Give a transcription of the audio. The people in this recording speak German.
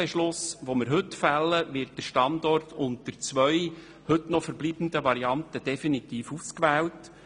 Nachdem heute zu fällenden Kreditbeschluss wird der Standort unter zwei heute noch verbleibenden Varianten definitiv ausgewählt.